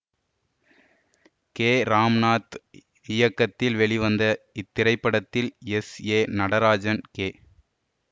K Ramnath இயக்கத்தில் வெளிவந்த இத்திரைப்படத்தில் எஸ் ஏ நடராஜன் கே